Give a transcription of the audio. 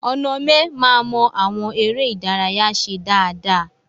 Onome ma mọ àwọn eré ìdárayá ṣe dáadáa.